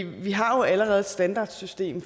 vi har jo allerede et standardsystem